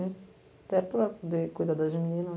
né. Até para poder cuidar das meninas.